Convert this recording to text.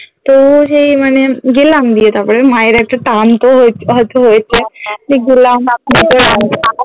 তো সেই মানে গেলাম দিয়ে তারপরে মায়ের একটা কাম তো হয়ে~ হয়তো হয়েছে